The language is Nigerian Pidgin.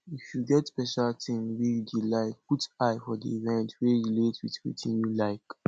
if you get special thing wey you dey like put eye for di event wey relate with wetin you like